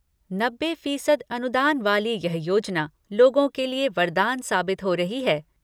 नब्बे फीसदी अनुदान वाली यह योजना लोगों के लिए वरदान साबित हो रही है।